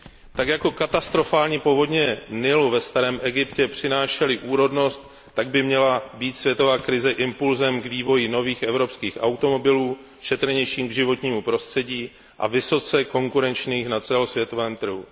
Tak jako katastrofální povodně řeky Nilu přinášely ve starém Egyptě úrodnost, tak by měla být světová krize impulsem k vývoji nových evropských automobilů šetrnějších k životnímu prostředí a vysoce konkurenčních na světovém trhu.